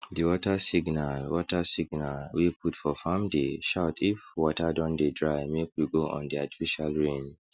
the water signal water signal wey put for farmdey shout if water don dey drymake we go on the artificial rain